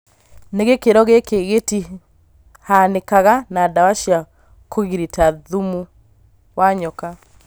No gĩkĩro gĩkĩ gĩtĩhanikaga na dawa cia kũgirita thumu wa nyoka